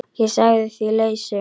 Ég sagði því lausu.